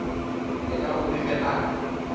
yena o rile a re